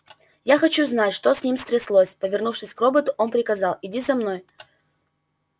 я хочу знать что с ним стряслось повернувшись к роботу он приказал иди за мной